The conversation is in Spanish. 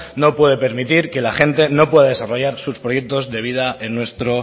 no puede permitir que la gente no pueda desarrollar sus proyectos de vida en nuestro